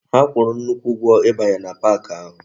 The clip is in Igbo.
Ha kwuru nnukwu ugwo ibanye na pak ahu